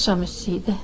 Axşam üstü idi.